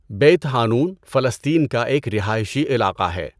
بیت حانون فلسطین کا ایک رہائشی علاقہ ہے.